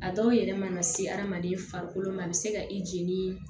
A dɔw yɛrɛ mana se hadamaden farikolo ma a bɛ se ka i jeni